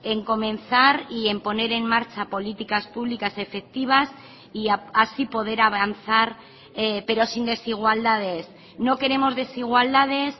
en comenzar y en poner en marcha políticas públicas efectivas y así poder avanzar pero sin desigualdades no queremos desigualdades